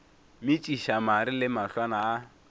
metšiša mare le mahlwana a